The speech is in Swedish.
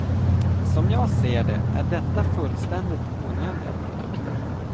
Som jag ser det, är detta fullständigt onödiga produkter.